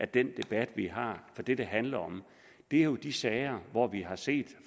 den debat vi har for det det handler om er jo de sager hvor vi har set